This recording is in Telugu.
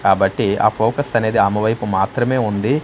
కాబట్టి ఆ ఫోకస్ అనేది ఆమె వైపు మాత్రమే ఉంది.